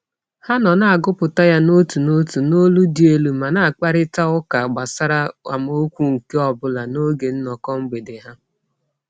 Ha nọ na-agụpụta ya n'otu n'otu n'olu dị elu ma na-akparịtaụka gbasara amaokwu nke ọbụla n'oge nnọkọ mgbede ha.